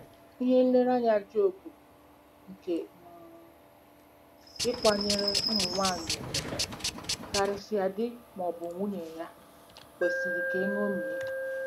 Ihe nlereanya Job nke um ịkwanyere ụmụ nwanyị ùgwù, karịsịa di ma ọ bụ nwunye ya, kwesịrị ka eṅomie.